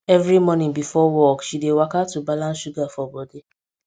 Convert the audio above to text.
every morning before work work she dey waka to balance sugar for body